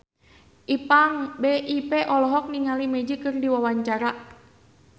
Ipank BIP olohok ningali Magic keur diwawancara